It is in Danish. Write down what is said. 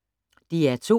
DR2